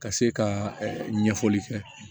Ka se ka ɲɛfɔli kɛ